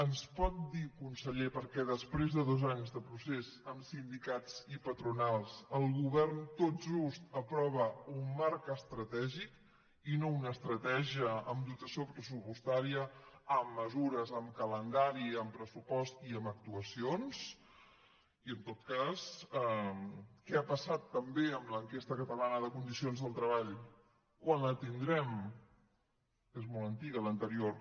ens pot dir conseller per què després de dos anys de procés amb sindicats i patronals el govern tot just aprova un marc estratègic i no una estratègia amb dotació pressupostària amb mesures amb calendari amb pressupost i amb actuacions i en tot cas què ha passat també amb l’enquesta catalana de condicions del treball quan la tindrem és molt antiga l’anterior